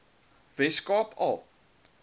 wes kaap al